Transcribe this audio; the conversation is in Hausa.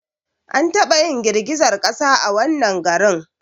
An taba yin girgizar kasa a wannan garin